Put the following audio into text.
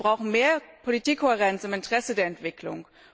Wir brauchen mehr Politikkohärenz im Interesse der Entwicklung.